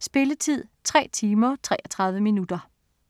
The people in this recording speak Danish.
Spilletid: 3 timer, 33 minutter.